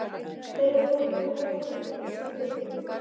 Hver er með flottustu hárgreiðsluna í ensku deildinni?